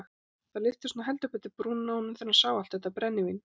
Það lyftist nú heldur betur brúnin á honum þegar hann sá allt þetta brennivín.